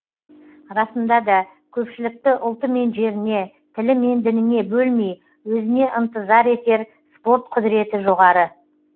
расында да көпшілікті ұлты мен жеріне тілі мен дініне бөлмей өзіне ынтызар етер спорт құдіреті жоғары